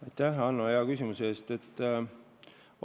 Aitäh, Hanno, hea küsimuse eest!